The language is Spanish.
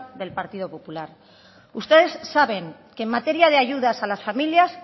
del partido popular ustedes saben que en materia de ayudas a las familias